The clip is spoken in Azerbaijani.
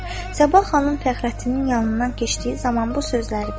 Sabah xanım Fəxrəddinin yanından keçdiyi zaman bu sözləri deyirdi: